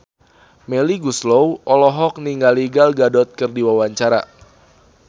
Melly Goeslaw olohok ningali Gal Gadot keur diwawancara